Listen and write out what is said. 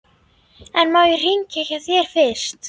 En má ég hringja hjá þér fyrst?